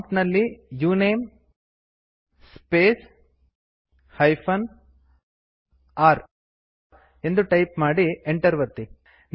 ಪ್ರಾಂಪ್ಟಿನಲ್ಲಿ ಉಣಮೆ space r ಎಂದು type ಮಾಡಿ ಎಂಟರ್ ಒತ್ತಿ